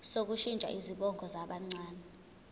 sokushintsha izibongo zabancane